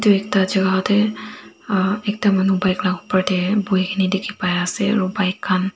edu ekta jaka tae ah ekta manu bike la opor tae boikaena dikhipaiase aro bike khan.